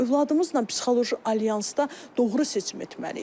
Övladımızla psixoloji alyansda doğru seçim etməliyik.